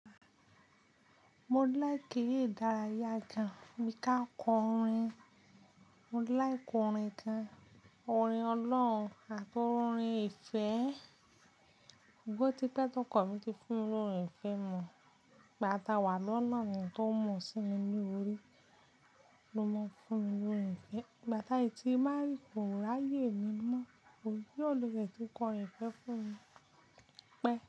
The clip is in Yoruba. Mo like eré ìdárayá gan, bí ká kọ orin. Mo like orin gan, orin ọlọ́run àti orin ìfẹ́. Ṣùgbọ́n ó tí pẹ́ tọkọ mí ti fún mi ní orin ìfẹ́ mọ̀, ìgbà tàwà lọ́nà ni tó n mu sími ní orí ló máa ń fún mi ní orin ìfẹ́. Ìgbà tí a sì tí marry kò ráyè mi mọ́, ìjọ woo ló tiẹ̀ ti kọrin ìfẹ́ fún mi, pẹ́